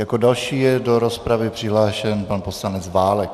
Jako další je do rozpravy přihlášen pan poslanec Válek.